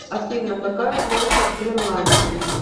афина какая площадь гренландии